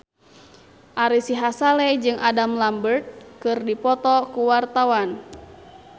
Ari Sihasale jeung Adam Lambert keur dipoto ku wartawan